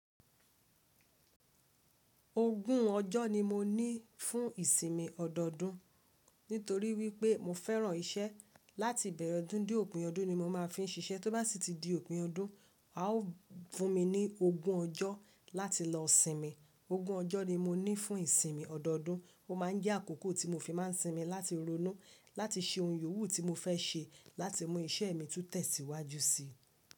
Ogún ọjọ́ ni mo ní fún ìsinmi ọdọọdún nítorí wípé mo fẹ́ràn iṣẹ́ láti ìbẹ̀rẹ̀ ọdún dé òpin ọdún ni mo máa fi ń ṣiṣẹ́. Tó bá sì ti di òpin ọdún, a ó fún mi ní ogún ọjọ́ láti lọ sinmi. Ogún ọjọ́ ni mo ní fún ìsinmi ọdọọdún. Ó máa ń jẹ́ àkókò tí mo fi máa ń sinmi láti ronú, láti ṣe ohun yòówù tí mo fẹ́ ṣe, láti mú iṣẹ́ mi tún tẹ̀síwájú síi.